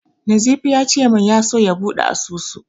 Nazifi ya ce min ya so ya buɗe asusu.